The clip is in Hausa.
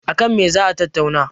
a kan me za a tattauna?